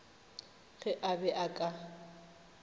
ge a be a ka